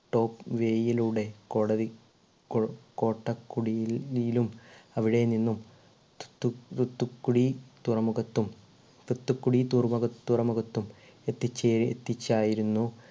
top way യിലുടെ കോടതി കോ കോട്ടക്കുടിയിൽ യിലും അവിടെ നിന്നും തു തു തുത്തുക്കുടി തുറമുഖത്തും തുത്തുക്കുടി തുറമുഖ തുറമുഖത്തും എത്തിച്ചേ എത്തിച്ചായിരുന്നു